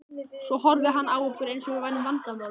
Svo horfði hann á okkur eins og við værum vandamálið.